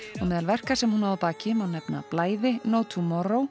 og meðal verka sem hún á að baki má nefna blæði no